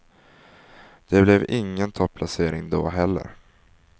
Det blev ingen topplacering då heller.